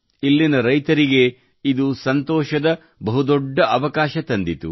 ಇಲ್ಲಿನ ರೈತರಿಗೆ ಇದು ಸಂತೋಷದ ಬಹುದೊಡ್ಡ ಅವಕಾಶ ತಂದಿತು